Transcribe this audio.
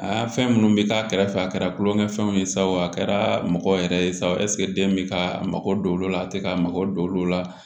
Aa fɛn minnu bɛ k'a kɛrɛfɛ a kɛra tulonkɛfɛnw ye sa o a kɛra mɔgɔ yɛrɛ ye sa o ɛsike den bɛ ka mago don olu la a tɛ ka mago don olu la